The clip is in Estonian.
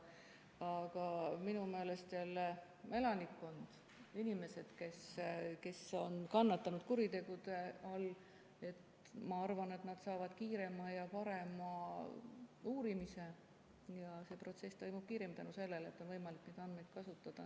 Aga minu meelest jälle elanikkond, inimesed, kes on kannatanud kuritegude tõttu, nad saavad kiirema ja parema uurimise ja protsess toimub kiiremini tänu sellele, et on võimalik neid andmeid kasutada.